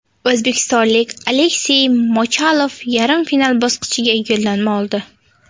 O‘zbekistonlik Aleksey Mochalov yarim final bosqichiga yo‘llanma oldi.